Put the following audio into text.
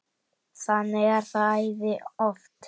Þannig er það æði oft.